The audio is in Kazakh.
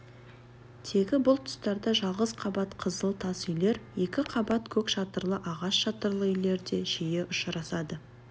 тегі бұл тұстарда жалғыз қабат қызыл тас үйлер екі қабат көк шатырлы ағаш шатырлы үйлер де жиі ұшырасады